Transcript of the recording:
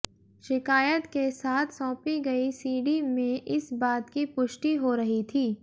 शिकायत के साथ सौंपी गई सीडी में इस बात की पुष्टि हो रही थी